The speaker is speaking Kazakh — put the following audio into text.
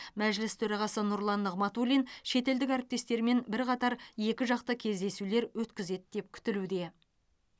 мәжіліс төрағасы нұрлан нығматулин шетелдік әріптестерімен бірқатар екіжақты кездесулер өткізеді деп күтілуде